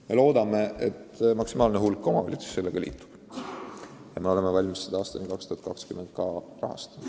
Me loodame, et liitub maksimaalne hulk omavalitsusi, ja me oleme valmis seda kõike aastani 2020 rahastama.